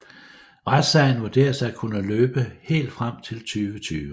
Retssagen vurderes at kunne løbe helt frem til 2020